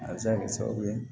A bɛ se ka kɛ sababu ye